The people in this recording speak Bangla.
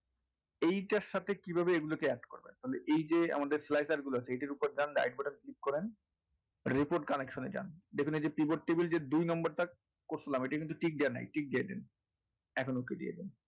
এইটার সাথে এগুলোকে কীভাবে add করবেন তাহলে এইযে আমাদের গুলো আছে এইটার ওপর যান right button click করেন report cnnection এ যান যেখানে যে keyboard table করছিলাম এটা কিন্তু tick দেওয়া নেই tick দিয়ে দিন এখন okay দিয়ে দিন।